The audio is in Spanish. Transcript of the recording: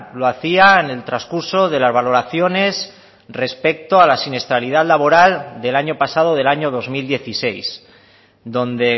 lo hacía en el transcurso de las valoraciones respecto a la siniestralidad laboral del año pasado del año dos mil dieciséis donde